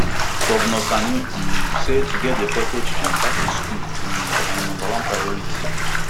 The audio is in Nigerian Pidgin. governor sani um say to get di affected children back in school um na im number one priority